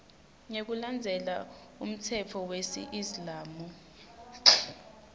ngekulandzela umtsetfo wesiislamu